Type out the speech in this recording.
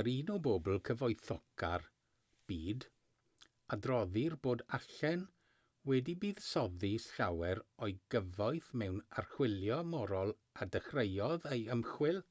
yn un o bobl cyfoethoca'r byd adroddir bod allen wedi buddsoddi llawer o'i gyfoeth mewn archwilio morol a dechreuodd ei ymchwil